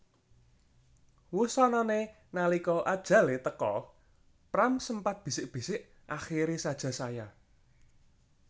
Wusanané nalika ajalé teka Pram sempat bisik bisik Akhiri saja saya